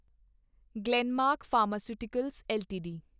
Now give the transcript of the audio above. Glenmark pharmaceuticals LTD